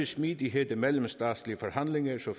smidighed i mellemstatslige forhandlinger så